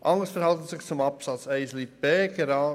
Anders verhält es sich bei Absatz 1 Buchstabe b: